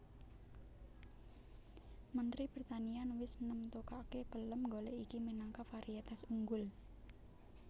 Mentri Pertanian wis nemtokaké pelem golèk iki minangka varietas unggul